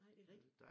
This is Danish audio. Nej det er rigtigt